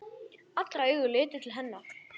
Allra augu litu til hennar.